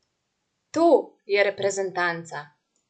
To je reprezentanca!